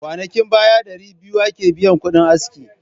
Kwanakin baya dari 200 ake biyakudin aski.